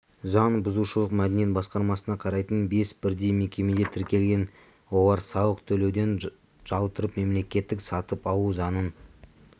заңбұзушылық мәдениет басқармасына қарайтын бес бірдей мекемеде тіркелген олар салық төлеуден жалтарып мемлекеттік сатып алу заңын